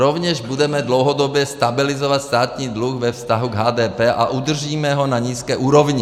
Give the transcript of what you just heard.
Rovněž budeme dlouhodobě stabilizovat státní dluh ve vztahu k HDP a udržíme ho na nízké úrovni.